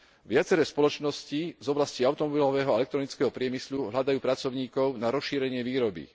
Viaceré spoločnosti z oblasti automobilového a elektronického priemyslu hľadajú pracovníkov na rozšírenie výroby.